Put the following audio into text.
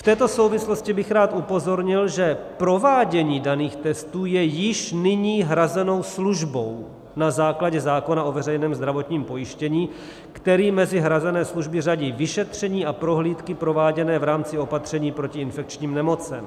V této souvislosti bych rád upozornil, že provádění daných testů je již nyní hrazenou službou na základě zákona o veřejném zdravotním pojištění, který mezi hrazené služby hradí vyšetření a prohlídky prováděné v rámci opatření proti infekčním nemocem.